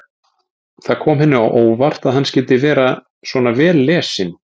Það kom henni á óvart að hann skyldi vera svona vel lesinn.